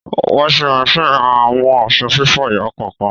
Washing machine máa ń mú aṣọ fífọ̀ yá kánkán